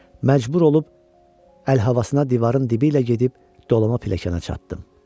Məcbur olub əl havasına divarın dibi ilə gedib dolama pilləkəna çatdım.